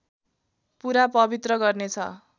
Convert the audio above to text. पुरा पवित्र गर्नेछ